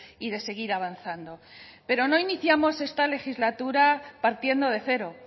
y de seguir avanzando pero no iniciamos esta legislatura partiendo de cero